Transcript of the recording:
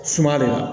Suma don wa